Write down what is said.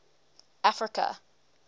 africa